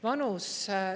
Vanus.